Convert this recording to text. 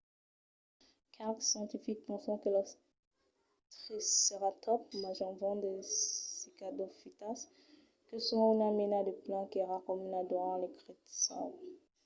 qualques scientifics pensan que los triceratòps manjavan de cicadofitas que son una mena de plan qu'èra comuna durant lo cretacèu